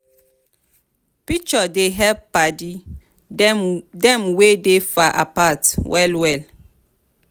picture dey help paddy dem wey dey far apart well well.